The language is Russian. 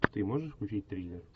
ты можешь включить триллер